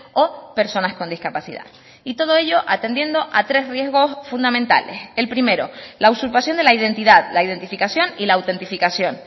o personas con discapacidad y todo ello atendiendo a tres riesgos fundamentales el primero la usurpación de la identidad la identificación y la autentificación